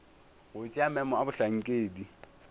go tšea maemo a bohlankedi